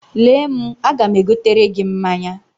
Lee m, aga m egotere gị mmanya.